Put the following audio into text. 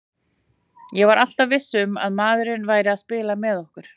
Ég var alltaf viss um að maðurinn væri að spila með okkur.